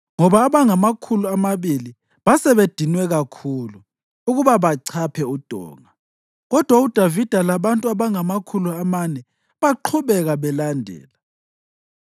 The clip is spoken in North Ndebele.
ngoba abangamakhulu amabili basebedinwe kakhulu ukuba bachaphe udonga. Kodwa uDavida labantu abangamakhulu amane baqhubeka belandela.